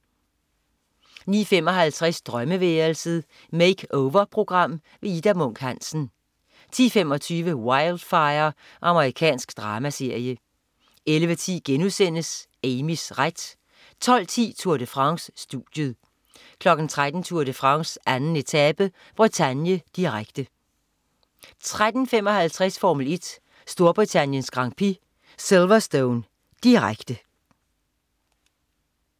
09.55 Drømmeværelset. Makeover-program. Ida Munk Hansen 10.25 Wildfire. Amerikansk dramaserie 11.10 Amys ret* 12.10 Tour de France. Studiet 13.00 Tour de France: 2. etape. Bretagne, direkte 13.55 Formel 1: Storbritanniens Grand Prix. Silverstone. Direkte